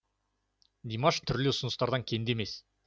димаш түрлі ұсыныстан кенде емес